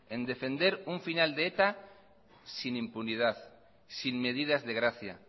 en defender un final de eta sin impunidad sin medidas de gracia